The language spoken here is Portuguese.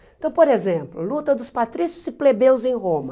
Então, por exemplo, luta dos patrícios e plebeus em Roma.